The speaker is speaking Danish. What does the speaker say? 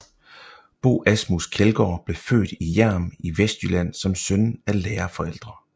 Bo Asmus Kjeldgaard blev født i Hjerm i Vestjylland som søn af lærerforældre